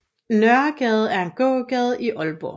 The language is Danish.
Nørregade er en gågade i Aalborg